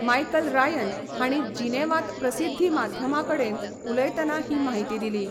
Michael Ryan हाणी जिनेवांत प्रसिद्धी माध्यमांकडेन उलयतना ही म्हायती दिली.